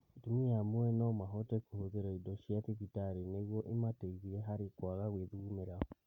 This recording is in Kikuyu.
Atumia amwe no mahote kũhũthĩra indo cia thibitarĩ nĩguo imateithie harĩ kwaga gwĩthugumĩra